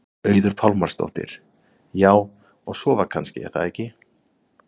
Auður Pálmarsdóttir: Já, og sofa kannski er það ekki?